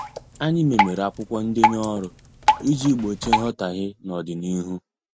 Anyị memere akwụkwọ ndenye ọrụ iji gbochie nghotaghie n odina ihu.